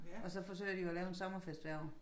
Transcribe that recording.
Og så forsøger de jo at lave en sommerfest hvert år